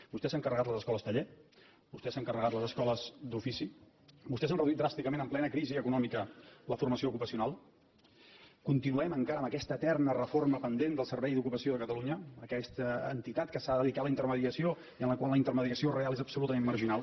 vostès s’han carregat les escoles taller vostès s’han carregat les escoles d’ofici vostès han reduït dràsticament en plena crisi econòmica la formació ocupacional continuem encara amb aquesta eterna reforma pendent del servei d’ocupació de catalunya aquesta entitat que s’ha de dedicar a la intermediació i en la qual la intermediació real és absolutament marginal